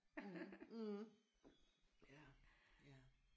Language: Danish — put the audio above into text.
Mh mh ja ja